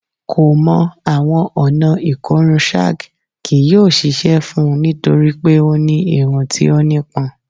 Ko mọ awọn ọna ikorun shag kii yoo ṣiṣẹ fun u nitori pe o ni irun ti o nipọn